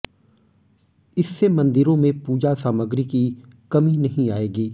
इससे मंदिरों में पूजा सामग्री की कमी नहीं आएगी